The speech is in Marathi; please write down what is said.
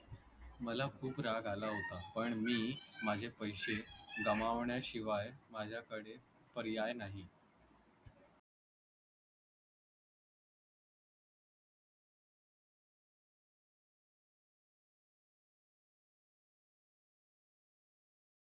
मला खूप राग आला होता पण मी माझे पैशे गमावण्याशिवाय माझ्याकडे पर्याय नाही